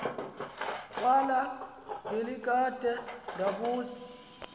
kwala ngelikade ndabuza